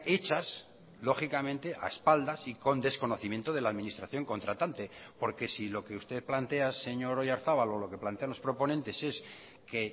hechas lógicamente a espaldas y con desconocimiento de la administración contratante porque si lo que usted plantea señor oyarzabal o lo que plantean los proponentes es que